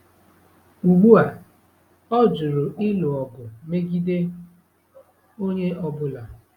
Ugbu a, ọ jụrụ ịlụ ọgụ megide onye ọ bụla.